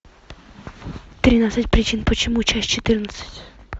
тринадцать причин почему часть четырнадцать